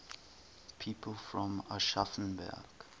people from aschaffenburg